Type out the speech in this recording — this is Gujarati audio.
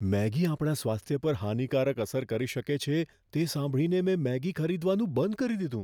મેગી આપણા સ્વાસ્થ્ય પર હાનિકારક અસર કરી શકે છે, તે સાંભળીને મેં મેગી ખરીદવાનું બંધ કરી દીધું.